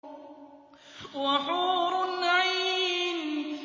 وَحُورٌ عِينٌ